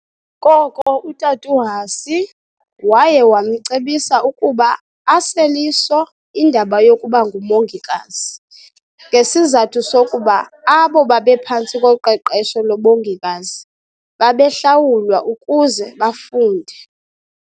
Koko uTat' uHussy waye wamcebisa ukuba asel' iso indaba yokubanguMongikazi, ngesizathu sokuba abo babephantsi koqeqesho lobongikazi babehlawulwa ukuze bafunde.